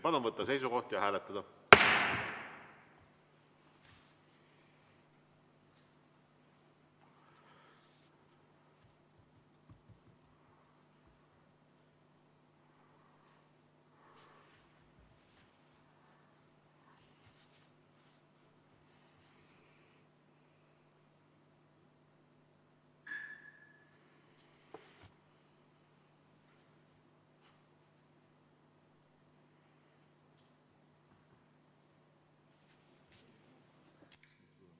Palun võtta seisukoht ja hääletada!